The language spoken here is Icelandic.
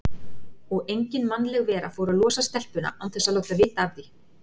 Og engin mannleg vera fór að losa stelpuna án þess að láta vita af því.